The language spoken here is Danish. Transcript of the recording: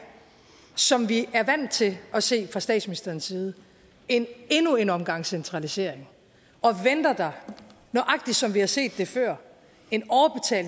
som vi er vant til at se fra statsministeren side endnu en omgang centralisering og venter der nøjagtig som vi har set det før